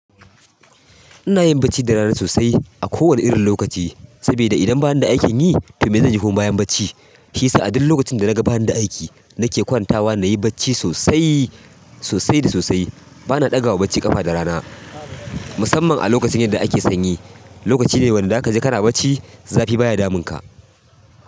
Ina yin bacci da rana sosai a kowane irin lokaci, saboda idan banida aikin yi to me zanyi kuma bayan bacci? Shi sa a duk lokacin da naga baani da aiki nake kwantawa nayi bacci sosai, sosai da sosai. Bana ɗaga wa bacci ƙafa da rana musamman a lokacin yadda ake sanyi. Lokaci ne wanda da ka je kana bacci zafi baya damunka.